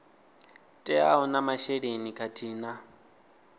teaho na masheleni khathihi na